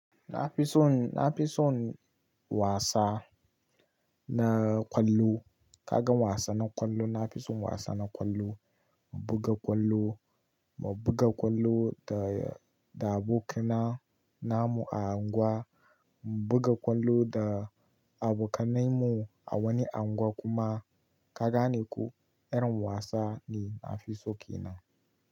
Na fi son, na fi son wasa na ƙwallo. Ka ga wasa na ƙwallo, na fi son wasa na ƙwallo. Mu buga ƙwallo, mu buga ƙwallo da, da abokina namu a unguwa, mu buga ƙwallo da abokanai mu a wani unguwa kuma ka gane ko irin wasa ne na fi so ke nan.